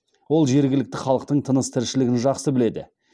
ол жергілікті халықтың тыныс тіршілігін жақсы біледі